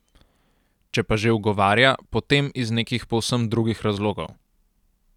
Če pa že ugovarja, potem iz nekih povsem drugih razlogov.